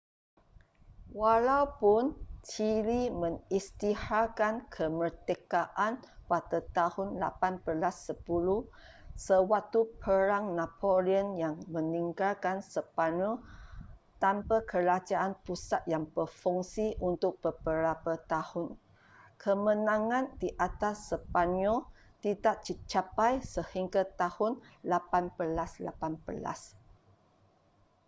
walaupun chile mengisytiharkan kemerdekaan pada tahun 1810 sewaktu perang napoleon yang meninggalkan sepanyol tanpa kerajaan pusat yang berfungsi untuk beberapa tahun kemenangan di atas sepanyol tidak dicapai sehingga tahun 1818